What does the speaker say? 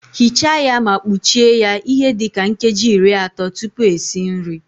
Ghichaa ya ma kpuchie ya ihe dị ka nkeji iri atọ tupu esi nri